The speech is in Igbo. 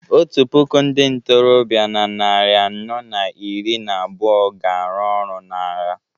otu puku ndị ntorobịa na narị anọ na iri na abụọ ga-arụ ọrụ n’agha